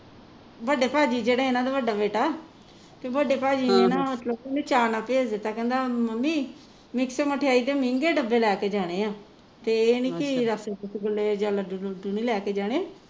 ਵੱਡੇ ਭਾਜੀ ਜਿਹੜਾ ਇਹਨਾਂ ਦਾ ਵੱਡਾ ਬੇਟਾ ਵੀ ਵੱਡੇ ਭਾਜੀ ਨੇ ਨਾ ਮਤਲਬ ਓਹਨੇ ਚਾਅ ਨਾਲ ਭੇਜ ਦਿੱਤਾ ਕਹਿੰਦਾ ਮੰਮੀ ਮਿਕ੍ਸ ਮਠਿਆਈ ਦੇ ਮਹਿੰਗੇ ਡੱਬੇ ਲੈ ਕੇ ਜਾਣੇ ਆ ਤੇ ਇਹ ਨਹੀਂ ਕਿ ਰੱਸਗੁੱਲੇ ਜਾ ਲੱਡੂ ਲੁੱਡੂ ਨਹੀਂ ਲੈ ਕੇ ਜਾਣੇ